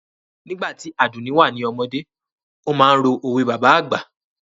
Nígbà tí Àdùnní wà ní ọmọdé, ó máa ń ro òwe bàbá àgbà